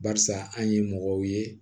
Barisa an ye mɔgɔw ye